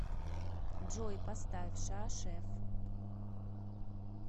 джой поставь ша шеф